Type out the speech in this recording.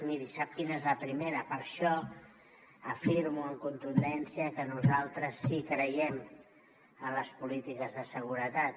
miri sap quina és la primera per això afirmo amb contundència que nosaltres sí que creiem en les polítiques de seguretat